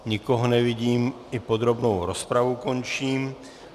Nikoho nevidím, i podrobnou rozpravu končím.